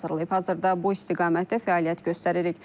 Hazırda bu istiqamətdə fəaliyyət göstəririk.